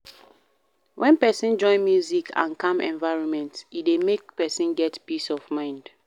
When person join music and calm environment e dey make person get peace of mind